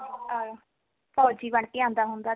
ਅਹ ਫ਼ੋਜੀ ਬਣ ਕੇ ਆਉਂਦਾ ਹੁੰਦਾ